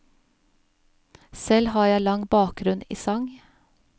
Selv har jeg lang bakgrunn i sang.